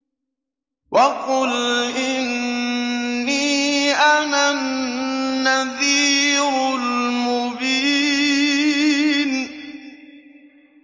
وَقُلْ إِنِّي أَنَا النَّذِيرُ الْمُبِينُ